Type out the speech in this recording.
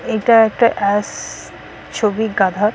এটা একটা অ্যস-- ছবি গাধার --